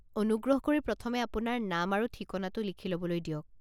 অনুগ্ৰহ কৰি প্ৰথমে আপোনাৰ নাম আৰু ঠিকনাটো লিখি ল'বলৈ দিয়ক।